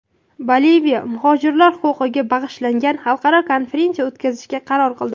Boliviya muhojirlar huquqiga bag‘ishlangan xalqaro konferensiya o‘tkazishga qaror qildi.